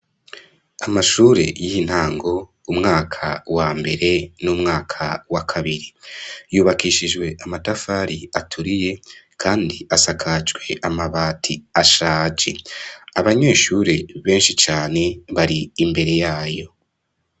Amashure y'intango umwaka wa mbere n'umwaka wa kabiri ,yubakishijwe amatafari aturiye kandi asakajwe amabati ashaje. Abanyeshuri benshi cane bari imbere yayo .